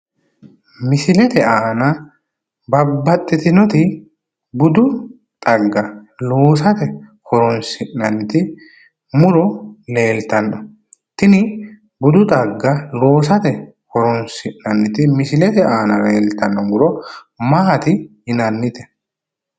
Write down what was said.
Misilete aana babbaxxitinoti budu xagga loosate horoonsi'nanniti muro leeltanno. Tini budu xagga loosate horoonsi'nanniti misilete aana leeltanno muro maati yinannite?